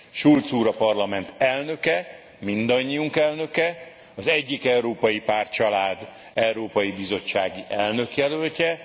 Schulz úr a Parlament elnöke, mindannyiunk elnöke, az egyik európai pártcsalád európai bizottsági elnökjelöltje.